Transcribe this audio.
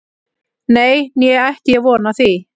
Nei, né ætti ég von á því